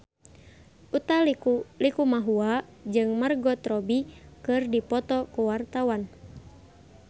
Utha Likumahua jeung Margot Robbie keur dipoto ku wartawan